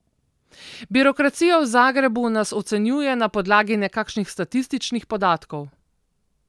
Birokracija v Zagrebu nas ocenjuje na podlagi nekakšnih statističnih podatkov.